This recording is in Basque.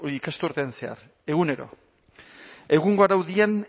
ikasturtean zehar egunero egungo araudian